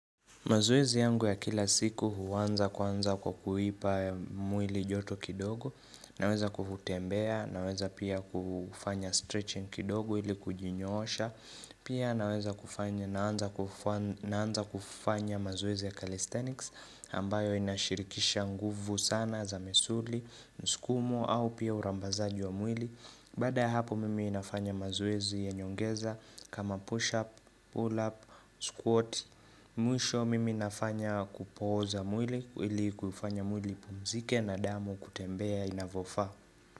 Mazoezi yangu ya kila siku huanza kwanza kuipa mwili joto kidogo, naweza kutembea, naweza pia kufanya stretching kidogo ili kujinyoosha, pia naweza kufanya naanza kufanya mazoezi ya calisthenics ambayo inashirikisha nguvu sana za misuli, mskumo au pia urambazaji wa mwili. Baada ya hapo mimi nafanya mazoezi ya nyongeza kama push up, pull up, squat Mwisho mimi nafanya kupooza mwili ili kufanya mwili ipumzike na damu kutembea inavofaa.